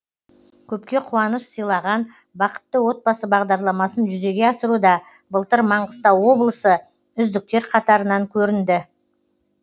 көпке қуаныш сыйлаған бақытты отбасы бағдарламасын жүзеге асыруда былтыр маңғыстау облысы үздіктер қатарынан көрінді